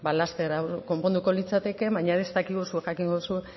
laster konponduko litzateke baina ez dakigu zuk jakingo duzu